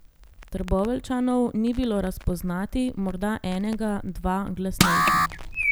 Trboveljčanov ni bilo razpoznati, morda enega, dva glasnejša.